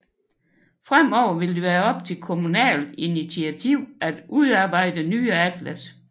Fremover vil det være op til kommunalt initiativ at udarbejde nye atlas